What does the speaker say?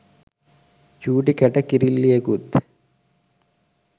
චූටි කැට කිරිල්ලියෙකුත්